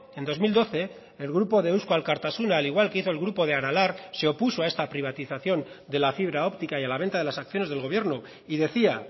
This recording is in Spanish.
en dos mil doce el grupo de eusko alkartasuna al igual que hizo el grupo de aralar se opuso a esta privatización de la fibra óptica y a la venta de las acciones del gobierno y decía